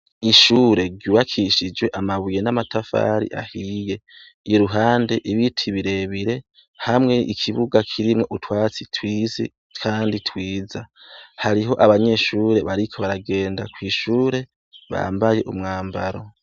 Ishure ryubakishijwe amabuye n’amatafari ahiye iruhande ibiti birebire hamwe ikibuga kirimwo utwatsi twinshi kandi twiza, hariho abanyeshure bariko baragenda kw’ishure bambaye umwambaro.